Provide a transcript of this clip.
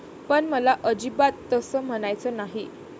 पण मला अजिबात तसं म्हणायचं नाही.